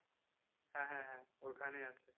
হ্যাঁ হ্যাঁ হ্যাঁ ঐখানে আছে।